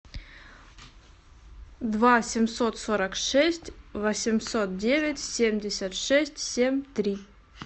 два семьсот сорок шесть восемьсот девять семьдесят шесть семь три